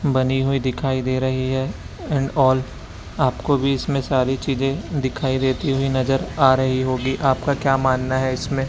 बनी हुई दिखाई दे रही है एंड आल आपको भी इसमें सारी चीजे दिखाई देती हुई नजर आ रही होगी आपका क्या मानना है इसमें?